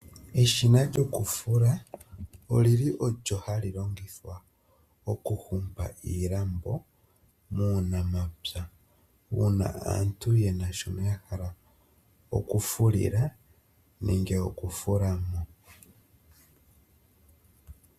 Eshina lyokufula olyili olyo halilongithwa okuhumba iilambo muunamapya, uuna aantu yena shoyahala okufulila nenge okufula.